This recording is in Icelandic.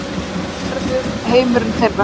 Hann verður heimurinn þeirra.